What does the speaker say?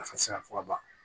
Nafa tɛ se ka fɔ ka ban